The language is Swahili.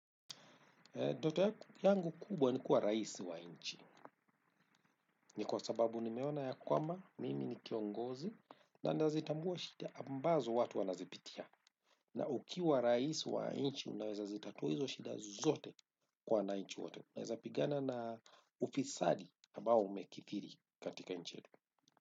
Ndoto yangu kubwa ni kuwa raisi wa nchi. Ni kwa sababu nimeona ya kwamba, mimi ni kiongozi, na nazitambua shida ambazo watu wanazipitia. Na ukiwa rais wa nchi unaeza zitatua hizo shida zote kwa wananchi wote. Unaweza pigana na ufisadi ambao umekithiri katika nchi yetu.